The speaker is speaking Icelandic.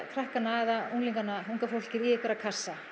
krakkana eða unglingana unga fólkið í einhverja kassa